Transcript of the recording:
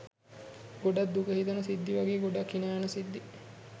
ගොඩක් දුක හිතෙන සිද්ධි වගේ ගොඩක් හිනා යන සිද්ධි